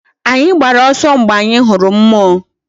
Anyi gbara oso mgbe anyi huru mmuo